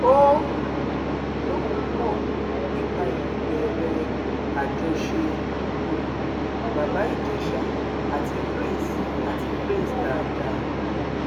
ó um lóun mọ nípa ìbẹrẹ àjọṣe um bàbá ìjèṣà àti prince àti prince dáadáa